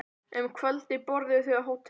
Um kvöldið borðuðu þau á hótelinu.